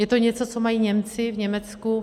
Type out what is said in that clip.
Je to něco, co mají Němci v Německu.